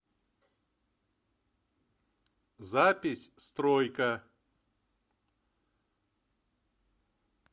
запись стройка